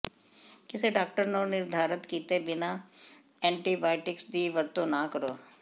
ਕਿਸੇ ਡਾਕਟਰ ਨੂੰ ਨਿਰਧਾਰਤ ਕੀਤੇ ਬਿਨਾਂ ਐਂਟੀਬਾਇਓਟਿਕਸ ਦੀ ਵਰਤੋਂ ਨਾ ਕਰੋ